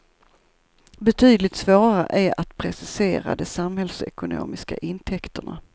Betydligt svårare är att precisera de samhällsekonomiska intäkterna.